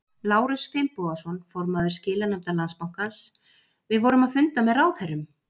Lárus Finnbogason, formaður skilanefndar Landsbankans: Við vorum að funda með ráðherrum?